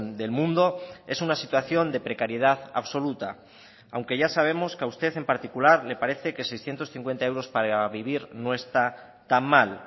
del mundo es una situación de precariedad absoluta aunque ya sabemos que a usted en particular le parece que seiscientos cincuenta euros para vivir no está tan mal